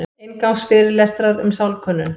Inngangsfyrirlestrar um sálkönnun.